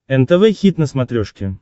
нтв хит на смотрешке